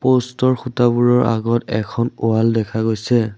প'ষ্টৰ খুঁটাবোৰৰ আগত এখন ৱাল দেখা গৈছে।